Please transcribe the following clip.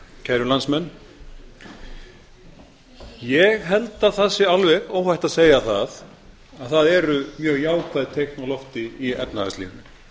kæru landsmenn ég held að það sé alveg óhætt að segja það að það eru mjög jákvæð teikn á lofi í efnahagslífinu